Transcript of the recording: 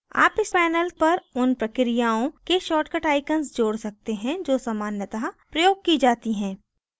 आप इस panel पर उन प्रक्रियाओं के शार्ट कट icons जोड़ सकते हैं जो सामान्यतः प्रयोग की जाती है